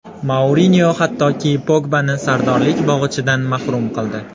Mourinyo hattoki Pogbani sardorlik bog‘ichidan mahrum qildi.